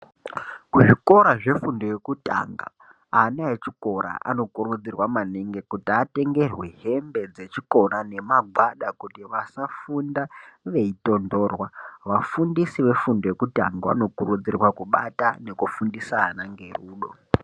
Muzvikora zvefundo yekutanga ana echikora anokurudzirwa maningi kuti atengerwe muhembe dzschikora nemagwada kuti vasatondorwa vafundisi vefundo yekutanga vanokurudzirwa kubata nekufundisa ana nerudo.